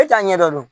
E t'a ɲɛdɔn